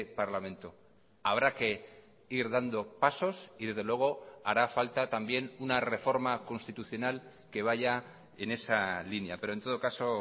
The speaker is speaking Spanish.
parlamento habrá que ir dando pasos y desde luego hará falta también una reforma constitucional que vaya en esa línea pero en todo caso